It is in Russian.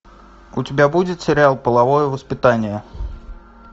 у тебя будет сериал половое воспитание